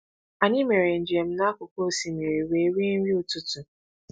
Anyị mere njem n’akụkụ osimiri wee rie nri ụtụtụ.